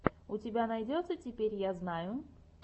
у тебя найдется теперь я знаю